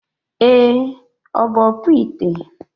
Ee, Ọ bụ ọkpụite.